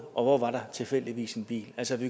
og hvor var der tilfældigvis en bil altså vi